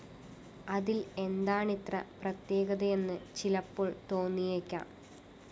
അതില്‍ എന്താണിത്ര പ്രത്യേകതയെന്ന് ചിലപ്പോള്‍ തോന്നിയേക്കാം